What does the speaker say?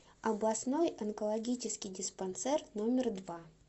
областной онкологический диспансер номер два